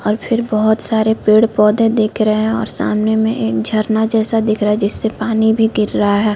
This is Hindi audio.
और फिर बहोत सारे पेड़-पौधे दिख रहै हैं और सामने में एक झरना जैसा दिख रहा है जिससे पानी भी गिर रहा है।